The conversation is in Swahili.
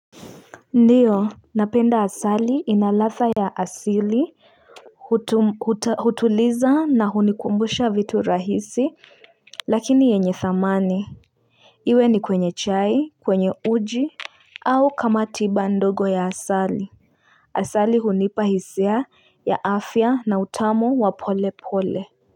Ndiyo napenda asali inalatha ya asili hutuliza na hunikumbusha vitu rahisi lakini yenye thamani iwe ni kwenye chai kwenye uji au kama tiba ndogo ya asali asali hunipa hisia ya afya na utamu wa pole pole.